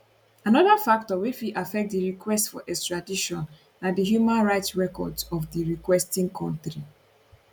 anoda factor wey fit affect di request for extradition na di human rights records of di requesting kontri